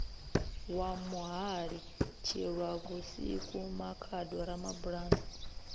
wa muhali tshilwavhusiku makhado ramabulana